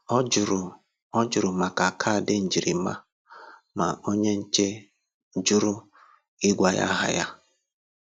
Ọ jụrụ Ọ jụrụ maka kaadị njirima, ma onye nche jụrụ ịgwa ya aha ya.